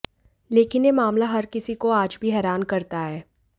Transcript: लेकिन ये मामला हर किसी को आज भी हैरान करता है